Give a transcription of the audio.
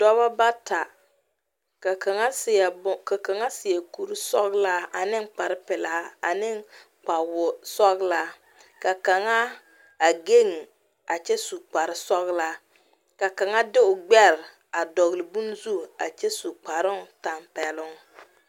Dɔba bata ka kaŋa seɛ ka kaŋa seɛ kurisɔglaa ane kparepelaa ane wosɔglaa ka kaŋa a geŋ kyɛ su kparesɔglaa ka kaŋa de o gbɛre a dɔgle bonne zu a kyɛ su kparoŋtampɛloŋ.